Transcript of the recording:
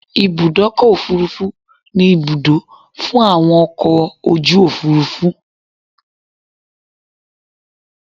Ibùdọ́kọ̀ òfurufú ni Ibùdó fún àwọn ọkọ̀ ojú òfúrufú